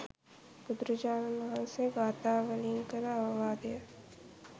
බුදුරජාණන් වහන්සේ ගාථා වලින් කළ අවවාදය